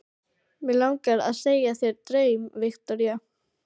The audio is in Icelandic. Mig langar að segja þér draum, Viktoría.